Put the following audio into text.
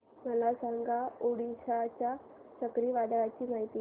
मला सांगा ओडिशा च्या चक्रीवादळाची माहिती